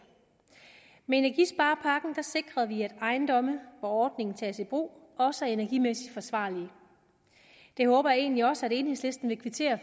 med energisparepakken sikrer vi at ejendomme hvor ordningen tages i brug også er energimæssigt forsvarlige det håber jeg egentlig også enhedslisten vil kvittere